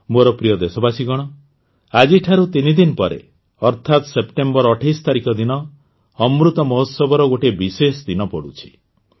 ମୋର ପ୍ରିୟ ଦେଶବାସୀଗଣ ଆଜିଠାରୁ ତିନି ଦିନ ପରେ ଅର୍ଥାତ ସେପ୍ଟେମ୍ବର ୨୮ ତାରିଖ ଦିନ ଅମୃତ ମହୋତ୍ସବର ଗୋଟିଏ ବିଶେଷ ଦିନ ପଡ଼ୁଛି